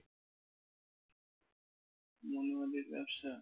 মনোহারীর ব্যবসা?